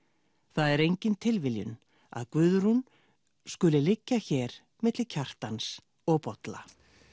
það er engin tilviljun að Guðrún skuli liggja hér milli Kjartans og Bolla